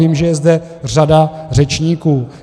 Vím, že je zde řada řečníků.